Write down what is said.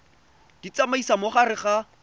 di tsamaisa mo gare ga